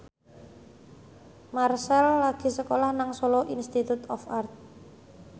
Marchell lagi sekolah nang Solo Institute of Art